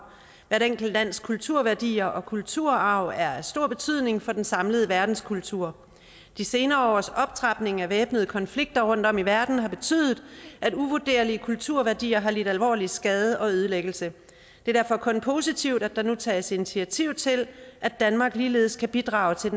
hvert enkelt lands kulturværdier og kulturarv er af stor betydning for den samlede verdenskulturarv de senere års optrapning af væbnede konflikter rundtom i verden har betydet at uvurderlige kulturværdier har lidt alvorlig skade og ødelæggelse det er derfor kun positivt at der nu tages initiativ til at danmark ligeledes kan bidrage til